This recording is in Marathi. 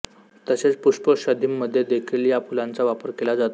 तसेच पुष्पौषधीमध्ये देखील या फुलांचा वापर केला जातो